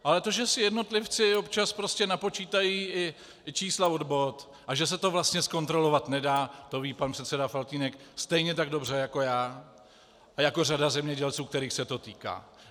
Ale to, že si jednotlivci občas prostě napočítají i čísla od bot a že se to vlastně zkontrolovat nedá, to ví pan předseda Faltýnek stejně tak dobře jako já a jako řada zemědělců, kterých se to týká.